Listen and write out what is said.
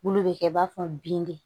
Bulu bɛ kɛ i b'a fɔ bin de